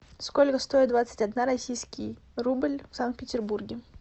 сколько стоит двадцать одна российский рубль в санкт петербурге